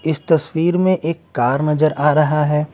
इस तस्वीर में एक कार नजर आ रहा है।